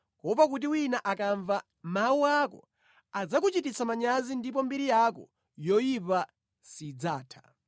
kuopa kuti wina akamva mawu ako adzakuchititsa manyazi ndipo mbiri yako yoyipa sidzatha.